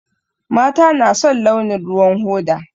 Mata na son launin ruwan hoda